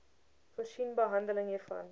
voorsien behandeling hiervoor